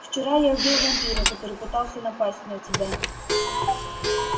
вчера я убил вампира который пытался напасть на тебя